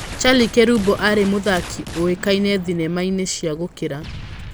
Charlie Kerubo aarĩ mũthaki ũĩkaine thenema-inĩ cia gũkira.